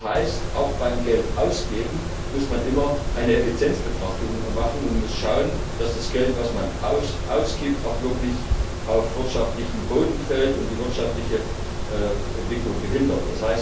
Das heißt, auch beim Geldausgeben muss man immer eine Effizienzbetrachtung machen und schauen, dass das Geld, das man ausgibt, auch wirklich auf wirtschaftlichen Boden fällt und die wirtschaftliche Entwicklung nicht behindert.